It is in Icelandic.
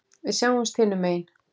Við sjáumst hinum megin.